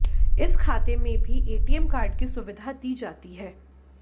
इस खाते में भी एटीएम कार्ड की सुविधा दी जाती है